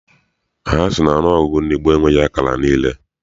Ha sị na ọnụọgụgụ ndị gboo enweghị akara niile.